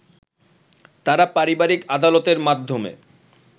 তারা পারিবারিক আদালতের মাধ্যমে